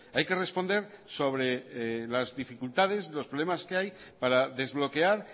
hay que responder sobre las dificultades los problemas que hay para desbloquear